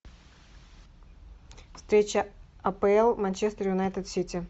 встреча апл манчестер юнайтед сити